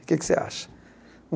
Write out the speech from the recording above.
O que é que você acha?